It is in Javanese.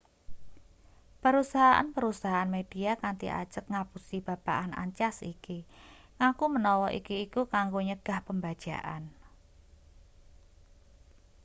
perusahaan-perusahaan media kanthi ajeg ngapusi babagan ancas iki ngaku menawa iki iku kanggo nyegah pembajakan